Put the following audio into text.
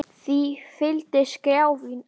Því fylgdi skrjáf í ná